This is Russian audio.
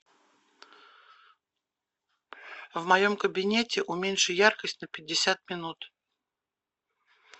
в моем кабинете уменьши яркость на пятьдесят минут